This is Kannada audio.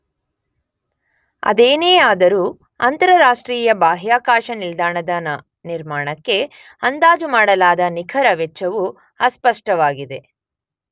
ಅದೇನೇ ಆದರೂ ಅಂತರರಾಷ್ಟ್ರೀಯ ಬಾಹ್ಯಾಕಾಶ ನಿಲ್ದಾಣದ ನ ನಿರ್ಮಾಣಕ್ಕೆ ಅಂದಾಜುಮಾಡಲಾದ ನಿಖರ ವೆಚ್ಚವು ಅಸ್ಪಷ್ಟವಾಗಿದೆ.